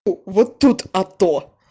вот тут а то